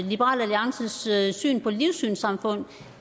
liberal alliances syn på livssynssamfund